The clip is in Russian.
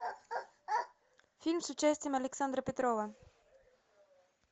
фильм с участием александра петрова